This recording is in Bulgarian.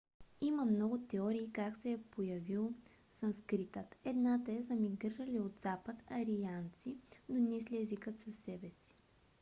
има много теории как се е появил санскритът. едната е за мигрирали от запад арианци донесли езика със себе си